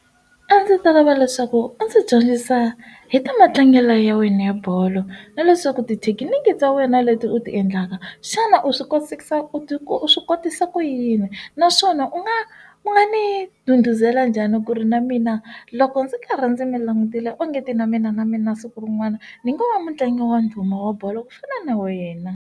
A ndzi ta lava leswaku a ndzi dyondzisa hi ta matlangelo ya wena ya bolo na leswaku tithekiniki ta wena leti u ti endlaka xana u swi kosisa u swi kotisa ku yini naswona u nga u nga ni nduduzela njhani ku ri na mina loko ndzi karhi ndzi mi langutile ongeti na mina na mina siku rin'wana ni ngo va mutlangi wa ndhuma wa bolo ku fana na wa yena.